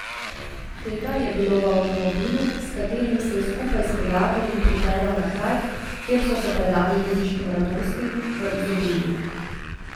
Tega je bilo v avtomobilu, s katerim se je skupaj s prijatelji pripeljal na kraj, kjer so se predali ribiškim radostim, v izobilju.